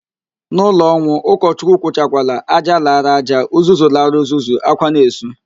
N'ụlọ ọnwụ, ụkọchukwu kwuchakwala, "ájá lara aja, uzuzu lara uzuzu", ákwá na-esu